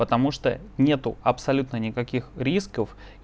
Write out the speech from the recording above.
потому что нет абсолютно никаких рисков